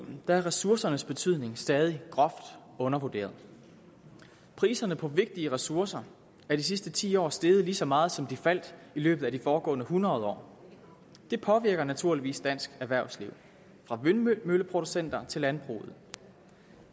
er ressourcernes betydning stadig groft undervurderet priserne på vigtige ressourcer er de sidste ti år steget lige så meget som de faldt i løbet af de foregående hundrede år det påvirker naturligvis dansk erhvervsliv fra vindmølleproducenter til landbrug